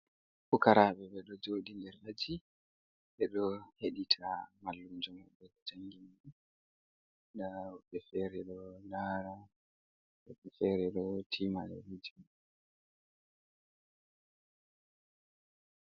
Pukarabe ɓe ɗo joɗi nder aji, ɓe ɗo heɗita mallumjo ɓe jangin, nda woɓɓe fere ɗo lara woɓɓe fere ɗo timale lajim.